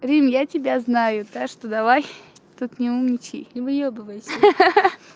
рим я тебя знаю так что давай тут не умничай не выёбывайся ха-ха